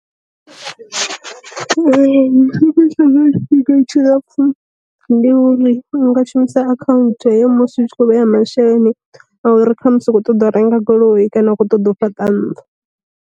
Ri fhiwa tshifhinga tshi lapfu ndi uri nga shumisa akhaunthu heyo musi u tshi kho vheya masheleni a uri kha musi a khou ṱoḓa u renga goloi kana u kho ṱoḓa u fhaṱa nnḓu.